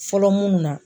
Fɔlɔ mun na